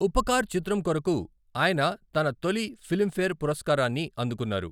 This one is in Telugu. ఉపకార్ చిత్రం కొరకు అయిన తన తొలి ఫిలింఫేర్ పురస్కారాన్ని అందుకున్నారు.